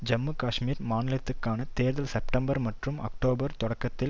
ஜம்மு காஷ்மீர் மாநிலத்துக்கான தேர்தல் செப்டம்பர் மற்றும் அக்டோபர் தொடக்கத்தில்